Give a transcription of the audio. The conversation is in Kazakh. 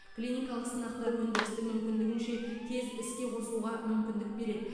клиникалық сынақтар өндірісті мүмкіндігінше тез іске қосуға мүмкіндік береді